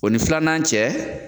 O ni filanan cɛ.